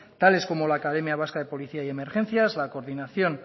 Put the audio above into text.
tales como la academia vasca de policía y emergencias la coordinación